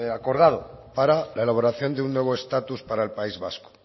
acordado para la elaboración de un nuevo estatus para el país vasco